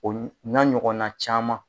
Olu o n'a ɲɔgɔnna caman.